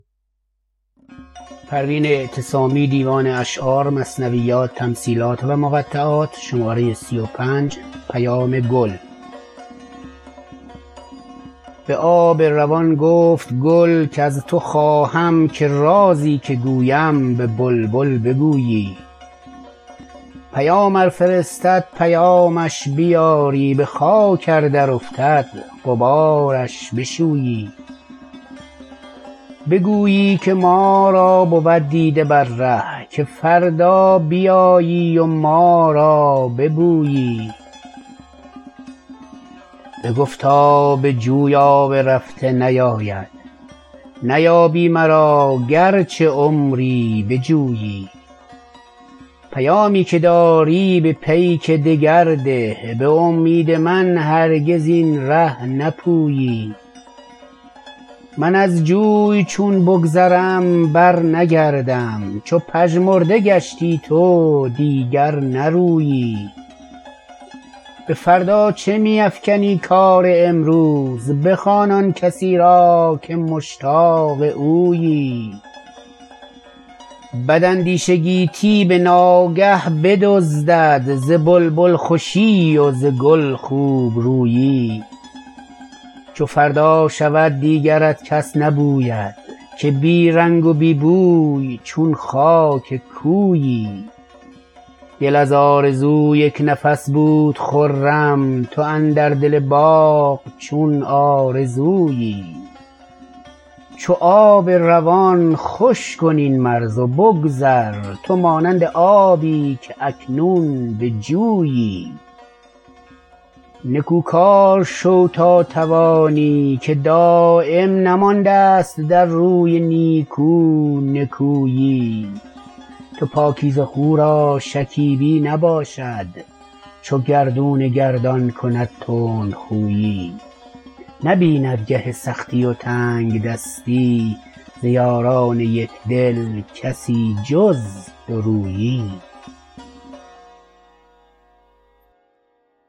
به آب روان گفت گل کز تو خواهم که رازی که گویم به بلبل بگویی پیام ار فرستد پیامش بیاری بخاک ار درافتد غبارش بشویی بگویی که ما را بود دیده بر ره که فردا بیایی و ما را ببویی بگفتا به جوی آب رفته نیاید نیابی مرا گرچه عمری بجویی پیامی که داری به پیک دگر ده بامید من هرگز این ره نپویی من از جوی چون بگذرم برنگردم چو پژمرده گشتی تو دیگر نرویی بفردا چه میافکنی کار امروز بخوان آنکسی را که مشتاق اویی بد اندیشه گیتی بناگه بدزدد ز بلبل خوشی و ز گل خوبرویی چو فردا شود دیگرت کس نبوید که بی رنگ و بی بوی چون خاک کویی دل از آرزو یکنفس بود خرم تو اندر دل باغ چون آرزویی چو آب روان خوش کن این مرز و بگذر تو مانند آبی که اکنون به جویی نکو کار شو تا توانی که دایم نمانداست در روی نیکو نکویی تو پاکیزه خو را شکیبی نباشد چو گردون گردان کند تندخویی نبیند گه سختی و تنگدستی ز یاران یکدل کسی جز دورویی